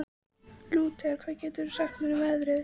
Lúter, hvað geturðu sagt mér um veðrið?